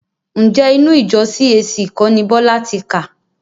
Ǹjẹ́ inú ìjọ CAC kọ́ ni Bọ́lá ti kà?